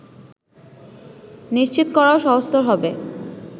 নিশ্চিত করাও সহজতর হবে